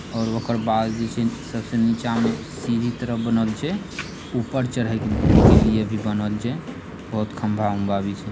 और ओकर बाद जे छीन सबसे नीचा में सीढ़ी के तरह बनल छे ऊपर चढ़े के लिए भी बनल छै बहुत खंभा-उंभा भी छै|